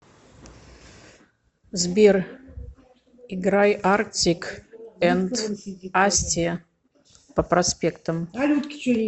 сбер играй артик энд асти по проспектам